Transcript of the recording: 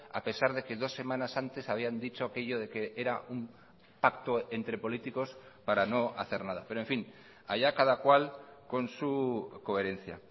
a pesar de que dos semanas antes habían dicho aquello de que era un pacto entre políticos para no hacer nada pero en fin allá cada cual con su coherencia